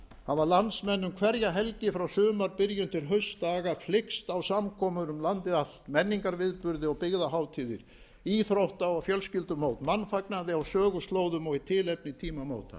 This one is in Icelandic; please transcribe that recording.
hafa landsmenn um hverja helgi frá sumarbyrjun til haustdaga flykkst á samkomur um landið allt menningarviðburði og byggðahátíðir íþrótta og fjölskyldumót mannfagnaði á söguslóðum eða í tilefni tímamóta